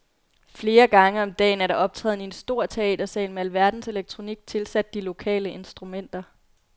Flere gange om dagen er der optræden i en stor teatersal med alverdens elektronik tilsat de lokale instrumenter.